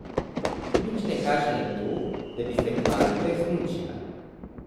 Nič ne kaže na to, da bi se kmalu uresničila.